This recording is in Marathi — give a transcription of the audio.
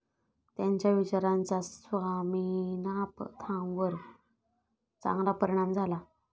त्यांच्या विचारांचा स्वामिनाथांवर चांगला परिणाम झाला.